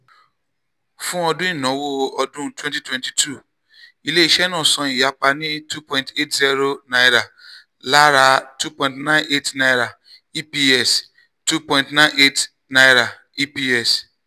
fún ọdún ìnáwó ọdún twenty twenty two ilé-iṣẹ́ náà san ìyapa ní n two point eight zero lára n two point nine eight eps. n two point nine eight eps.